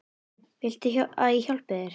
Viltu að ég hjálpi þér?